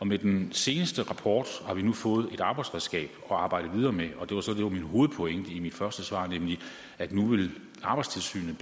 med den seneste rapport har vi nu fået et arbejdsredskab at arbejde videre med og det var så det der var min hovedpointe i mit første svar nemlig at nu vil arbejdstilsynet